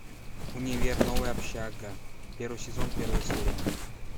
универ новая общага первый сезон первая серия